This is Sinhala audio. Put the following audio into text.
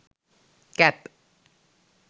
cap